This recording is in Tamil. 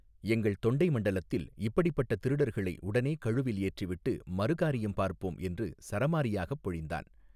எங்கள் தொண்டை மண்டலத்தில் இப்படிப்பட்ட திருடர்களை உடனே கழுவில் ஏற்றிவிட்டு மறு காரியம் பார்ப்போம் என்று சரமாரியாகப் பொழிந்தான்.